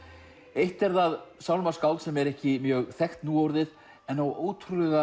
eitt er það sálmaskáld sem er ekki mjög þekkt núorðið en á ótrúlega